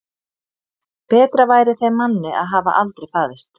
Betra væri þeim manni að hafa aldrei fæðst.